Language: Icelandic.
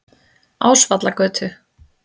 Ásvallagötu